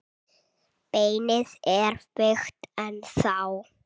Beinið er veikt ennþá.